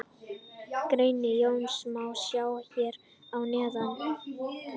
Grein Jóns má sjá hér að neðan.